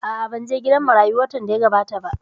A'a, ban je gidan marayu watan da ya gabata ba